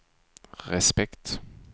respekt